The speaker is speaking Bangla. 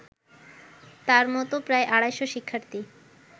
তার মতো প্রায় আড়াইশ শিক্ষার্থী